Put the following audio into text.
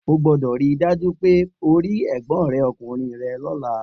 O gbúdọ̀ ri dájú pe o ri Ẹ̀gbọ́n rẹ ọkùnrin rẹ lọ́la